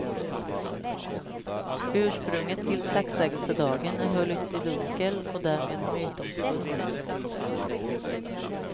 Ursprunget till tacksägelsedagen är höljt i dunkel och därmed mytomspunnet.